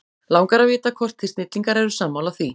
Langar að vita hvort þið snillingar eru sammála því?